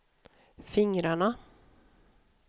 fingrarna